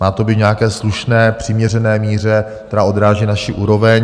Má to být v nějaké slušné, přiměřené míře, která odráží naši úroveň.